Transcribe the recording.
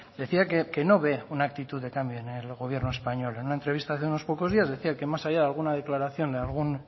decía que no ve una actitud de cambio en el gobierno español en una entrevista de hace unos pocos días decía que más allá de alguna declaración de algún